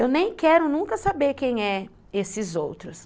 Eu nem quero nunca saber quem são esses outros.